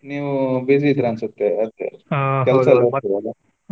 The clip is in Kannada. ನೀವು busy ಇದ್ದೀರಾ ಅನ್ಸುತ್ತೆ ಅದಕ್ಕೆ .